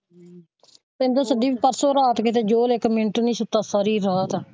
ਕਹਿੰਦੀ ਪਰਸੋਂ ਰਾਤ ਕਿੱਤੇ ਜੋਤ ਇੱਕ ਮਿੰਟ ਨਹੀਂ ਸੋਤਾ ਸਾਰੀ ਰਾਤ।